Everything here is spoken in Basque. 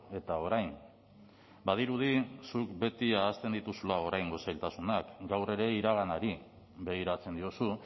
eta orain badirudi zuk beti ahazten dituzula oraingo zailtasunak gaur ere iraganari begiratzen diozu